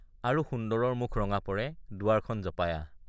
আৰু সুন্দৰৰ মুখ ৰঙা পৰে দুৱাৰখন জপাই আহ।